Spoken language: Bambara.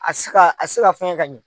A tise ka a tise ka fɛnkɛ ka ɲɛ.